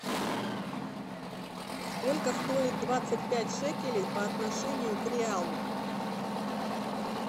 сколько стоит двадцать пять шекелей по отношению к реалу